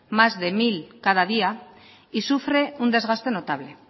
más de mil cada día y sufre un desgaste notable